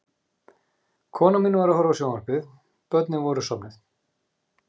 Konan mín var að horfa á sjónvarpið, börnin voru sofnuð.